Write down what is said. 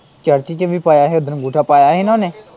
Church ਚ ਵੀ ਪਾਇਆ ਹੀ ਉਸ ਦਿਨ ਅੰਗੂਠਾ ਪਾਇਆ ਹੀ ਨਾ ਉਨੇ?